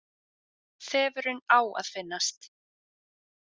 Þefurinn á að finnast.